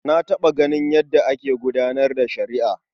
Na taɓa ganin yadda ake gudanar da shari'a.